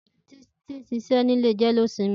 Titi n ṣiṣẹ nilé jẹ̀léósìmì